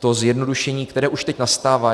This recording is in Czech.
To zjednodušení, které už teď nastává.